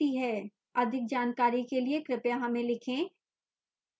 अधिक जानकारी के लिए कृपया हमें लिखें